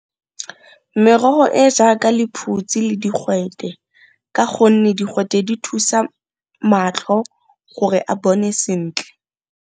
Merogo e jaaka lephutsi le digwete, ka gonne digwete di thusa matlho gore a bone sentle.